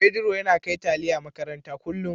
Pedro yana kai taliya makaranta kullu